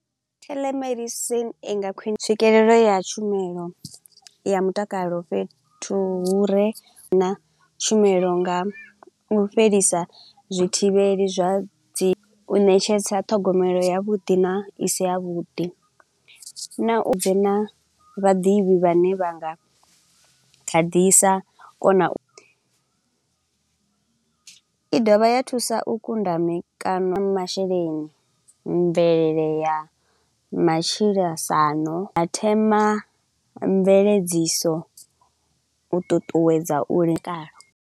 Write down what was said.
Telemedicine inga khwine tswikelelo ya tshumelo ya mutakalo fhethu hu re na tshumelo nga u fhelisa zwithivheli zwa dzi, u ṋetshedza ṱhogomelo ya vhuḓi na isi ya vhuḓi. Na u bve na vhaḓivhi vhane vhanga kha ḓisa kona u. I dovha ya thusa u kunda mikano masheleni mvelele ya matshilasano, ya thema mveledziso u ṱuṱuwedza u lingana.